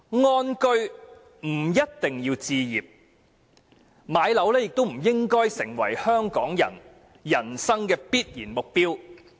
安居不一定要置業，置業亦不應成為香港人人生的必然目標。